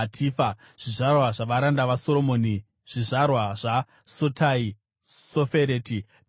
Zvizvarwa zvavaranda vaSoromoni: zvizvarwa zva: Sotai, Sofereti, Peridha,